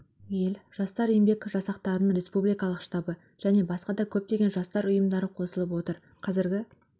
ел жастар еңбек жасақтарының республикалық штабы және басқа да көптеген жастар ұйымдары қосылып отыр қазіргі